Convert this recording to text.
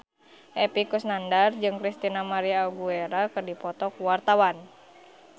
Epy Kusnandar jeung Christina María Aguilera keur dipoto ku wartawan